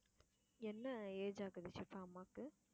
என்ன age ஆகுது, ஷிபா அம்மாவுக்கு?